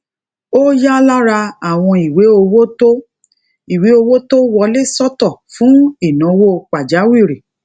ó ya lára àwọn ìwé owó tó ìwé owó tó wọlé sọtọ fún ìnáwó pàjáwìrì